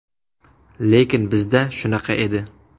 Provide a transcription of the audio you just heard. Lekin bizda shunaqa edi.